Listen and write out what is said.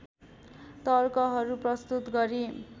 तर्कहरू प्रस्तुत गरी